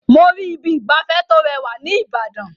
Mo rí Ibi ìgbafẹ́ tó rẹwà ní Ìbàdàn.